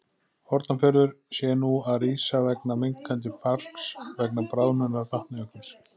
Hornafjörður, sé nú að rísa vegna minnkandi fargs vegna bráðnunar Vatnajökuls.